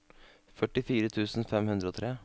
førtifire tusen fem hundre og tre